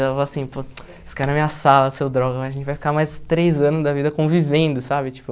Ela falou assim, pô, você caiu na minha sala, seu droga, a gente vai ficar mais três anos da vida convivendo, sabe, tipo...